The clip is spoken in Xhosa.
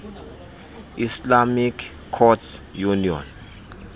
islamic courts union